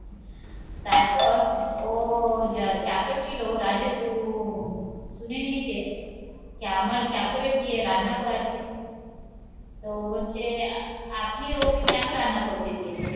তারপর ও যা চাকর ছিল রাজেস উহ শুনে নিয়েছে যে আমার চাকরে দিয়ে রান্না করাচ্ছে, তো বলছে আপনি ওকে কেন রান্না করতে দিয়েছেন?